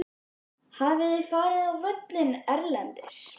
Hafið þið farið á völlinn erlendis?